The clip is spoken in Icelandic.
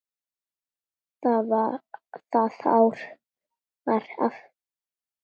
Það ár var afkoman betri.